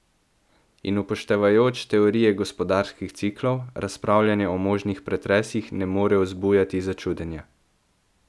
In upoštevajoč teorije gospodarskih ciklov, razpravljanje o možnih pretresih ne more vzbujati začudenja.